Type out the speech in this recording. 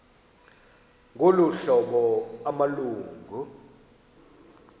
ngolu hlobo amalungu